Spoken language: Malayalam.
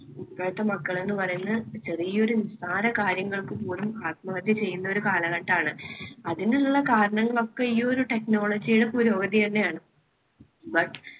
ഇപ്പോഴത്തെ മക്കൾ എന്ന് പറയുന്നത് ചെറിയൊരു നിസ്സാര കാര്യങ്ങൾക്ക് പോലും ആത്മഹത്യ ചെയ്യുന്ന ഒരു കാലഘട്ടാണ്. അതിനുള്ള കാരണങ്ങളൊക്കെ ഈ ഒരു technology യുടെ പുരോഗതി തന്നെയാണ്. but